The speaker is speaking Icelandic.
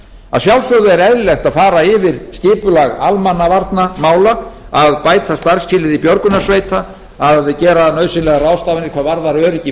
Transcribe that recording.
að sjálfsögðu er eðlilegt að fara vel yfir skipulag almannavarnamála að bæta starfsskilyrði björgunarsveita að gera nauðsynlegar ráðstafanir hvað varðar öryggi